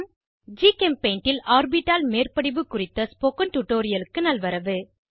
ஜிகெம்பெய்ண்ட் ல் ஆர்பிட்டால் மேற்படிவு குறித்த ஸ்போகன் டுடோரியலுக்கு நல்வரவு